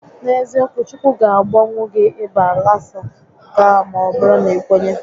N'eziokwu, Chukwu ga agwọnwu gị ịba lasa nke a maọbụrụ na i kwenye